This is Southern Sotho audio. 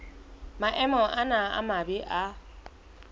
maemo ana a mabe a